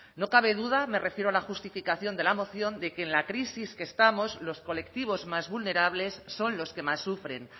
no cabe duda me refiero a la justificación de la moción de que en la crisis que estamos los colectivos más vulnerables son los que más sufren